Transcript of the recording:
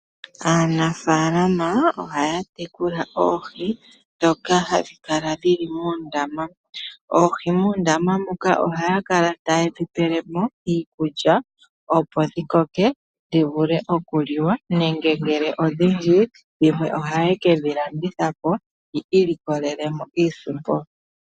Aanafalama ohaya tekula oohi ndhoka hadhi kala dhili moondama. Oohi muundama muka ohaya kala taye dhipele mo iikulya opo dhikoke dhivule okuliwa, nenge ngele odhindji dhimwe ohaye ke dhilanditha po yi ilikolele mo iisimpo.